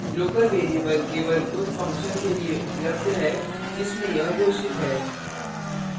local variable केवल उन function के लिए उपलब्ध है जिसमें यह घोषित है